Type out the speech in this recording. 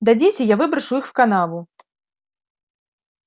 дадите я выброшу их в канаву